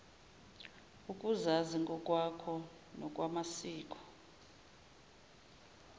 ukuzazi ngokwakho nokwamasiko